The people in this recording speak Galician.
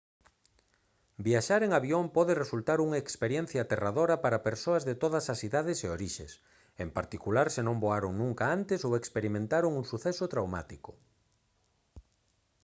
viaxar en avión pode resultar unha experiencia aterradora para persoas de todas as idades e orixes en particular se non voaron nunca antes ou experimentaron un suceso traumático